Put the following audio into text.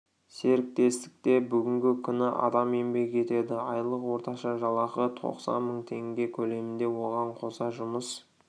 серіктестікте бүгінгі күні адам еңбек етеді айлық орташа жалақы тоқсан мың теңге көлемінде оған қоса жұмыс